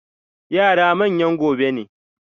Yara manyan gobe ne.